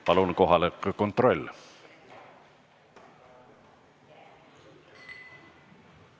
Palun kohaloleku kontroll!